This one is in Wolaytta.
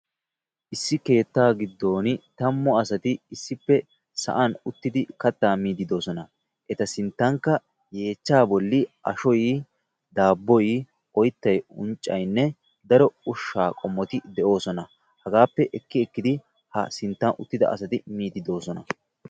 Issi keettaa giddon tammu asati issipe sa'aan uttidi kattaa miidi doosona. Eta sinttankka yeechchaa bolli ashshoy, daaboy, oyttay. unccaynne daro ushsha qommoti de'oosona. Haggappe ekki ekkidi ha sinttan uttida asati mide doosona.